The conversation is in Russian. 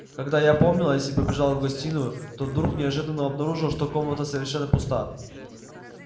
когда я опомнилась и побежала в гостиную то вдруг неожиданно обнаружила что комната совершенно пуста